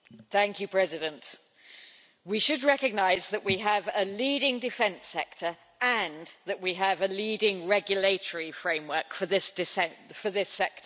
Mr President, we should recognise that we have a leading defence sector and that we have a leading regulatory framework for this sector.